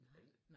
Nej